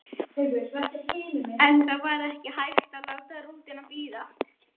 En það var ekki hægt að láta rútuna bíða.